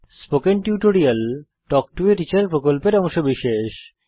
spoken tutorial talk to a teacher প্রকল্পের অংশবিশেষ